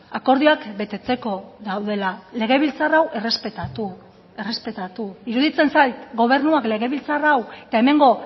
akordioak betetzeko daudela legebiltzar hau errespetatu errespetatu iruditzen zait gobernuak legebiltzar hau eta hemengo